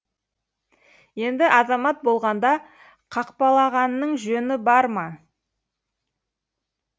енді азамат болғанда қақпалағанның жөні бар ма